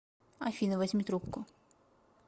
афина возьми трубку